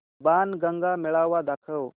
बाणगंगा मेळावा दाखव